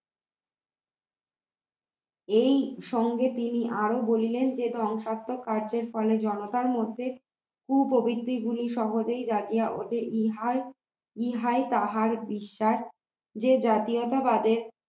এইসঙ্গে তিনি আরো বলিলেন যে ধ্বংসাত্মক কার্যের ফলে জনতার মধ্যে কুপ্রবৃত্তি গুলি সহজেই জাগিয়া ওঠে ইহাই ইহাই তাহার বিশ্বাস যে জাতীয়তাবাদে